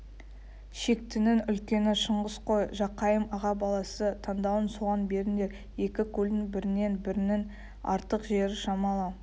шектінің үлкені шыңғыс қой жақайым аға баласы таңдауын соған беріңдер екі көлдің бірінен-бірінің артық жері шамалы